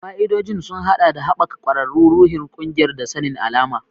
Fa'idodin sun haɗa da haɓaka ƙwararru, ruhin ƙungiyar, da sanin alama.